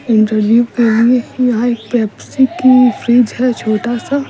interview के लिए यहां एक पेप्सी की फ्रिज है छोटा सा--